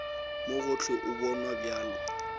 mo gohle o bonwa bjalo